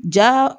Ja